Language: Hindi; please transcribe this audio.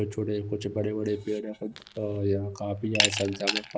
छोटे कुछ बड़े बड़े पेड़ यहां पे काफी ज्यादा संख्या में पा--